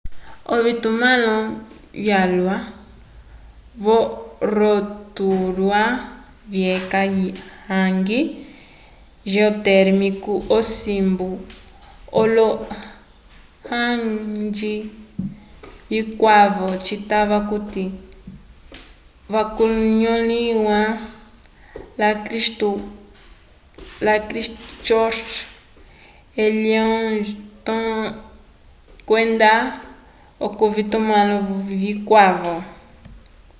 ovitumãlo vyalwa vo rotorua vyeca hangi geotérmico osimbu olo hangi vikwavo citava okuti vikanõliwa la christchurch wellington kwenda k'ovitumãlo vikwavo